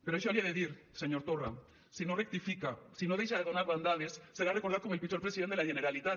per això l’hi he de dir senyor torra si no rectifica si no deixa de donar bandades serà recordat com el pitjor president de la generalitat